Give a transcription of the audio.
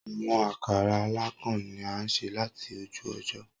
Awọn akara alakan ni a ṣe lati oju ojo.